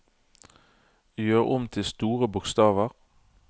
Gjør om til store bokstaver